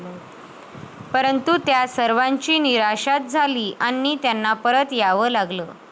परंतु त्या सर्वांची निराशाच झाली आणि त्यांना परत यावं लागलं.